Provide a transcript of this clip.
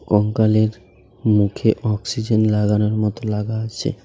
কঙ্কালের মুখে অক্সিজেন লাগানোর মতো লাগা আছে .